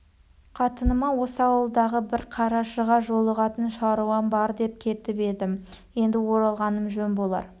қатыныма осы ауылдағы бір қарашыға жолығатын шаруам бар деп кетіп едім енді оралғаным жөн болар